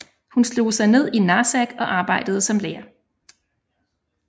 Hun slog sig ned i Narsaq og arbejdede som lærer